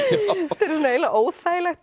þetta er eiginlega óþægilegt